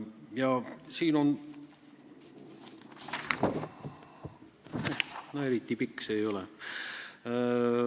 Ja siin on veel, eriti pikk see jutt ei ole.